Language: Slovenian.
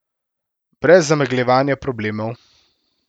Brez zamegljevanja problemov.